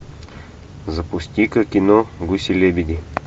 запусти ка кино гуси лебеди